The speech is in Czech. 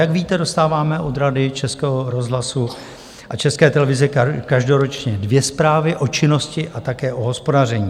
Jak víte, dostáváme od Rady Českého rozhlasu a České televize každoročně dvě zprávy o činnosti a také o hospodaření.